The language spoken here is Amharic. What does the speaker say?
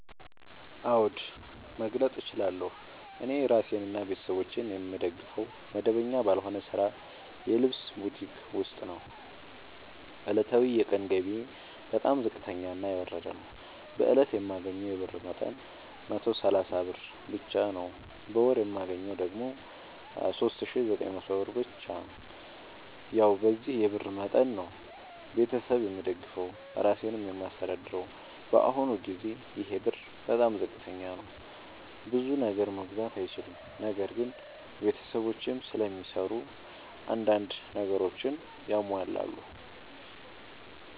አዎድ መግለጥ እችላለሁ። እኔ እራሴንና ቤተሠቦቼን የምደግፈዉ መደበኛ ባልሆነ ስራ የልብስ ቡቲክ ዉስጥ ነዉ። ዕለታዊ የቀን ገቢየ በጣም ዝቅተኛና የወረደ ነዉ። በእለት የማገኘዉ የብር መጠን 130 ብር ብቻ ነዉ። በወር የማገኘዉ ደግሞ 3900 ብር ብቻ ነዉ። ያዉ በዚህ የብር መጠን መጠን ነዉ። ቤተሠብ የምደግፈዉ እራሴንም የማስተዳድረዉ በአሁኑ ጊዜ ይሄ ብር በጣም ዝቅተኛ ነዉ። ብዙ ነገር መግዛት አይችልም። ነገር ግን ቤተሰቦቼም ስለሚሰሩ አንዳንድ ነገሮችን ያሟላሉ።